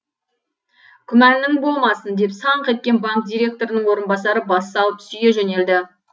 күмәнің болмасын деп саңқ еткен банк директорының орынбасары бас салып сүйе жөнелді